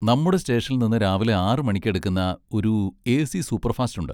നമ്മുടെ സ്റ്റേഷനിൽന്ന് രാവിലെ ആറ് മണിക്ക് എടുക്കുന്ന ഒരു എ. സി സൂപ്പർഫാസ്റ്റ് ഉണ്ട്.